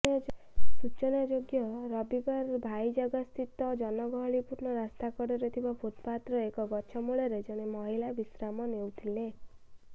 ସୂଚନାଯୋଗ୍ୟ ରବିବାର ଭାଇଜାଗସ୍ଥିତ ଜନଗହଳିପୂର୍ଣ୍ଣ ରାସ୍ତକଡ଼ରେ ଥିବା ଫୁଟପାତର ଏକ ଗଛମୂଳରେ ଜଣେ ମହିଳା ବିଶ୍ରାମ ନେଉଥିଲେ